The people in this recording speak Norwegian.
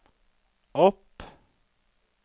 opp